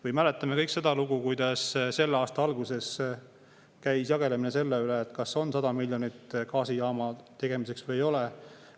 Kõik mäletame seda lugu, kuidas selle aasta alguses käis jagelemine selle üle, kas on 100 miljonit gaasijaama tegemiseks või ei ole.